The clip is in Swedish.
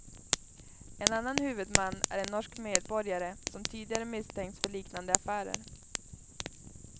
En annan huvudman är en norsk medborgare som tidigare misstänkts för liknande affärer.